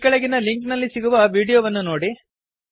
ಈ ಕೆಳಗಿನ ಲಿಂಕ್ ನಲ್ಲಿ ಸಿಗುವ ವೀಡಿಯೋವನ್ನು ನೋಡಿ